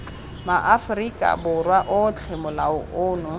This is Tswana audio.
maaforika borwa otlhe molao ono